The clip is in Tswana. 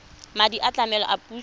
madi a tlamelo a puso